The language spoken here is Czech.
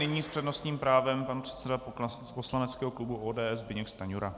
Nyní s přednostním právem pan předseda poslaneckého klubu ODS Zbyněk Stanjura.